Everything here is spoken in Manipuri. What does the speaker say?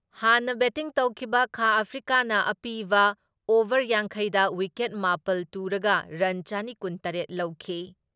ꯍꯥꯟꯅ ꯕꯦꯇꯤꯡ ꯇꯧꯈꯤꯕ ꯈꯥ ꯑꯐ꯭ꯔꯤꯀꯥꯅ ꯑꯄꯤꯕ ꯑꯣꯚꯔ ꯌꯥꯡꯈꯩ ꯗ ꯋꯤꯀꯦꯠ ꯃꯥꯄꯜ ꯇꯨꯔꯒ ꯔꯟ ꯆꯅꯤ ꯀꯨꯟ ꯇꯔꯦꯠ ꯂꯧꯈꯤ ꯫